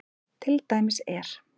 Til dæmis er